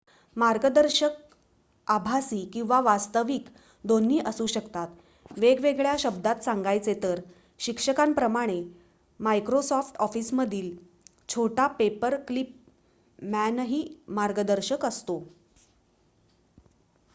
मार्गदर्शक आभासी किंवा वास्तविक दोन्ही असू शकतात वेगळ्या शब्दांत सांगायचे तर शिक्षकाप्रमाणे मायक्रोसॉफ्ट ऑफिसमधील छोटा पेपरक्लिप मॅनही मार्गदर्शकच असतो